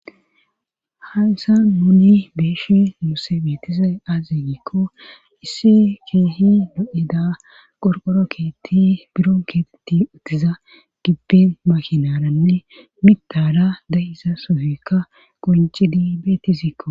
hansa muni beeshi muuse beetizay azegiikko issi keehi do7eda qorqoro keetti biron keetetti uttiza gibben makinaaranne mitara dahiza sofikka qoncidi beeti zikko